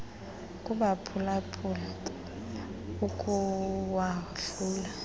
kubaphula phuli ukuwahlula